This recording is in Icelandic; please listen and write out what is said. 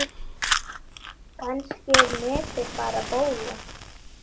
Kannski er netið bara bóla.